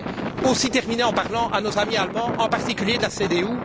Je voudrais aussi terminer en parlant à nos amis allemands, en particulier de la CDU.